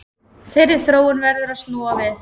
Þeirri þróun verður að snúa við